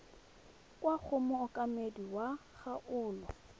kwa go mookamedi wa kgaolo